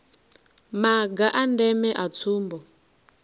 maga a ndeme a tsumbo